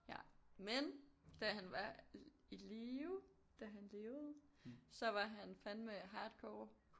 Ja men da han var i live da han levede så var han fandme hardcore